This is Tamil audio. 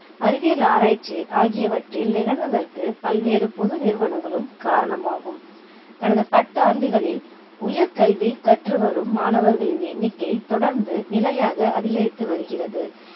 அறிவியல் ஆராய்ச்சி ஆகியவற்றில் நிகழ்வதற்கு பல்வேறு பொது நிறுவனங்களும் காரணமாகும் கடந்த பத்து ஆண்டுகளில் உயர் கல்வி கற்றுவரும் மாணவர்களின் எண்ணிக்கை தொடர்ந்து நிலையாக அதிகரித்து வருகிறது